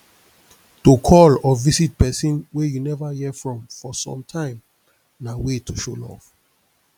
to call or visit persin wey you never hear from for sometime na way to show love